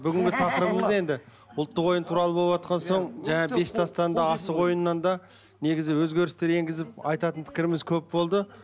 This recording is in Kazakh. бүгінгі тақырыбымыз енді ұлттық ойын туралы болыватқан соң жаңағы бес тастан да асық ойынынан да негізі өзгерістер еңгізіп айтатын пікіріміз көп болды